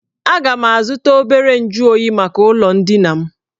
Aga m azụta obere nju oyi maka ụlọ ndina m